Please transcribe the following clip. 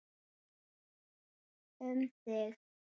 Um þig.